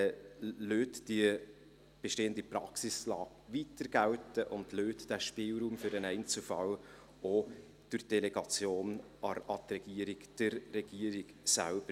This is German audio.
Lassen Sie die bestehende Praxis weiter gelten und lassen Sie durch die Delegation an die Regierung diesen Spielraum für den Einzelfall auch der Regierung selbst.